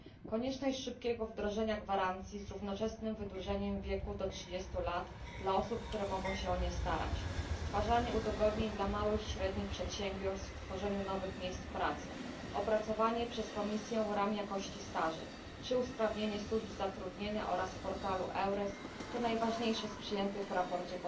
Konieczność szybkiego wdrożenia gwarancji z równoczesnym wydłużeniem wieku do 30 lat dla osób, które mogą się o nie starać, stworzenie udogodnień dla małych i średnich przedsiębiorstw w tworzeniu nowych miejsc pracy, opracowanie przez Komisję ram jakości staży czy usprawnienie służb zatrudnienia oraz portalu EURES to najważniejsze z postulatów przyjętych w sprawozdaniu.